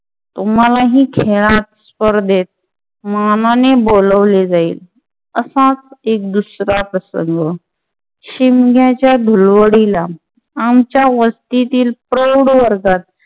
तुम्हालाही खेळात स्पर्धेत मानाने बोलावले जाईल असाच एक दुसरा प्रसंग शिमग्याच्या धुलवडीला आमच्या वस्तीतील प्रौढ वर्गात